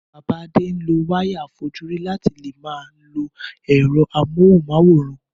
Bàbá Adéolá ń lo wáyà àfojúrí láti fi leè máa lo ẹ̀rọ móhùn máwòrán